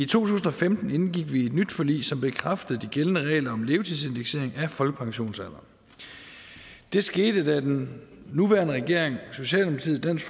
tusind og femten indgik vi et nyt forlig som bekræftede de gældende regler om levetidsindeksering af folkepensionsalderen det skete da den nuværende regering og socialdemokratiet dansk